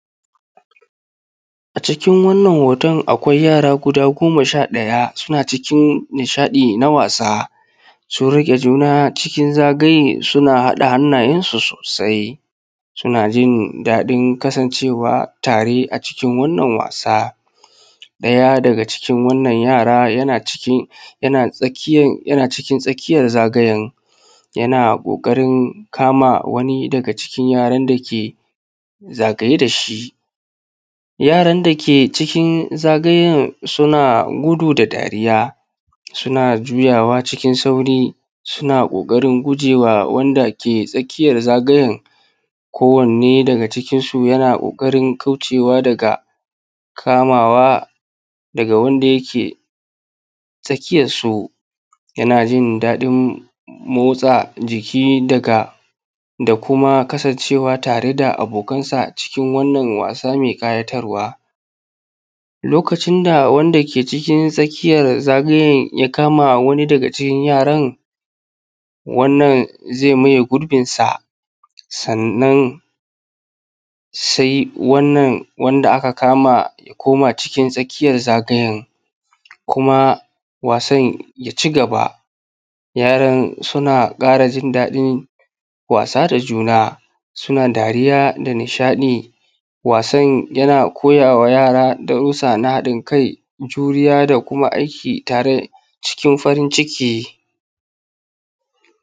A cikin wannan hoton akwai yara guda goma sha ɗaya suna cikin nishaɗi na wasa, sun riƙe juna cikin zagaye suna haɗa hannayensu sosai. Suna jindaɗin kansancewa tare a cikin wannan wasa ɗaya daga cikin wannan yara, yana cikin tsakiyan zgyen yana ƙoƙarin kama wani daga cikin yaran dake zagaye da shi. Yaran dake cikin zagayen suna gudu da dariya, suna juyawa cikin sauri, suna ƙoƙarin guje wa wanda ke tsakiyan zagayen, kowanne daga cikinsu yana ƙoƙarin kaucewa daga kamawa daga wanda yake tsakiyarsu. Yana jin daɗin motsa jiki da kuma kasancewa tare da abokansa a cikin wannan wasa mai ƙayatarwa. Lokacin da wanda ke cikin tsakiyan zagayen ya kama wani daga cikin yaran, wannan zai maye gurbinsa sannan sai wannan wanda aka kama ya koma cikin tsakiyan zagayen. Kuma wasan ya cigaba, yaran suna ƙara jindaɗin wasa da juna, suna dariya da nishaɗi. Wasan yana koyawa yara darusa na haɗin kai, juriya da kuma aiki tare cikin farin ciki.